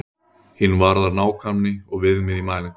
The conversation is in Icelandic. Hin varðar nákvæmni og viðmið í mælingum.